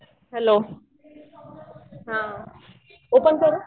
Hello? हा. Open करू?